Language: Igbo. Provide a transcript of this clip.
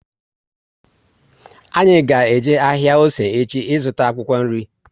Anyị ga eje ahịa Ose echi ị zụta akwụkwọ nri